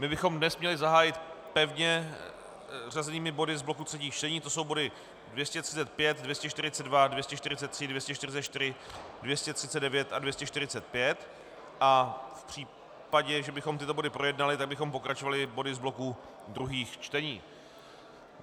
My bychom dnes měli zahájit pevně zařazenými body z bloku třetích čtení, to jsou body 235, 242, 243, 244, 239 a 245, a v případě, že bychom tyto body projednali, tak bychom pokračovali body z bloku druhých čtení.